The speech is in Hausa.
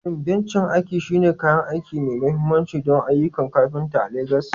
Shin bencin aiki shine kayan aiki mai mahimmanci don ayyukan kafinta a Legas?